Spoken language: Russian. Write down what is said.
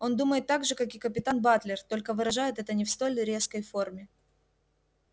он думает так же как и капитан батлер только выражает это не в столь резкой форме